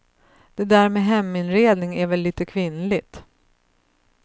Det där med heminredning är väl lite kvinnligt.